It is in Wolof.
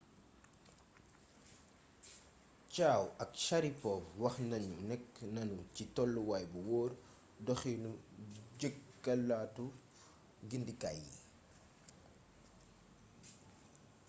chiao ak sharipov wax nanu nekk nanu ci tolluwaay bu wóor doxinu jekkalaatu gindikaay yi